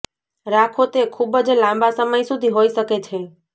રાખો તે ખૂબ જ લાંબા સમય સુધી હોઈ શકે છે